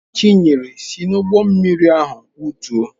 Chinyere si n'ụgbọ mmiri ahụ wutuo.